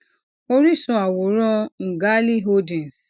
oríṣun àwòrán ngali holdings